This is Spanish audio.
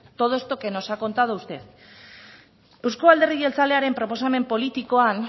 todo esto que nos ha contado usted euzko alderdi jeltzalearen proposamen politikoan